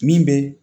Min bɛ